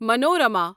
Manorama